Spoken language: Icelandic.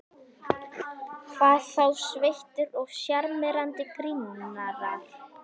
Hvað þá sveittir og sjarmerandi grínarar.